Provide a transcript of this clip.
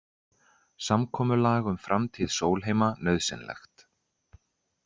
Samkomulag um framtíð Sólheima nauðsynlegt